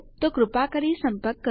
પરંતુ હમણાં માટે આનો પ્રયાસ કરો તે સાથે જાઓ